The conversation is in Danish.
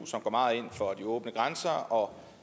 som går meget ind for de åbne grænser og